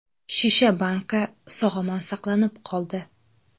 Shisha banka, sog‘-omon saqlanib qoldi.